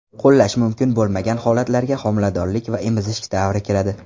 Qo‘llash mumkin bo‘lmagan holatlarga homiladorlik va emizish davri kiradi.